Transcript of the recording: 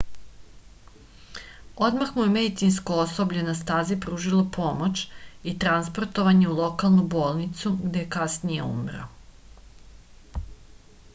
odmah mu je medicinsko osoblje na stazi pružilo pomoć i transportovan je u lokalnu bolnicu gde je kasnije umro